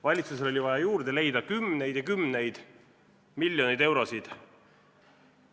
Valitsusel oli vaja juurde leida kümneid ja kümneid miljoneid eurosid.